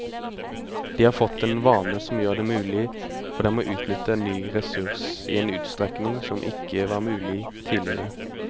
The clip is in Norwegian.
De har fått en vane som gjør det mulig for dem å utnytte en ny ressurs i en utstrekning som ikke var mulig tidligere.